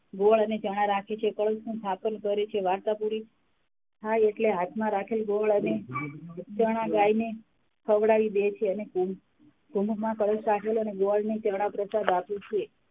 ગોળ અને ચણા રાખે છે, કળશનું સ્થાપન કરે છે, વાર્તા પૂરી થાય એટલે હાથમાં રાખેલ ગોળ અને ચણા ગાય ને ખવડાવી દે છે અને કળશ રાખેલો અને ગોળ ને ચણા પ્રસાદ આપે છે.